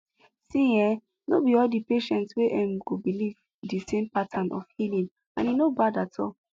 see[um]no be all the patients wey em go believe the same pattern of healing and e no bad at all